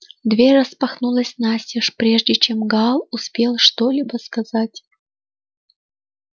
дверь распахнулась настежь прежде чем гаал успел что-либо сказать